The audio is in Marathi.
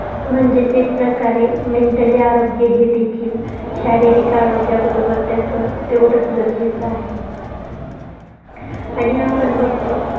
म्हणजेच एक प्रकारे mentally हे आरोग्य देखील. शारीरिक आरोग्य बरोबर त्याच तेवढंच गरजेचं आहे. आणि आपण बघतो